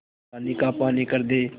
पानी का पानी कर दे